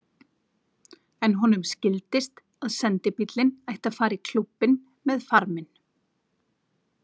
En honum skildist að sendibíllinn ætti að fara í Klúbbinn með farminn.